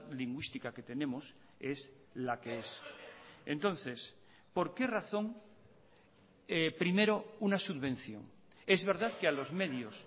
lingüística que tenemos es la que es entonces por qué razón primero una subvención es verdad que a los medios